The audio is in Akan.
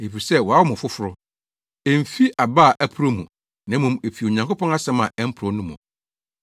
Efisɛ wɔawo mo foforo; emfi aba a ɛporɔw mu, na mmom efi Onyankopɔn asɛm a ɛmporɔw no mu.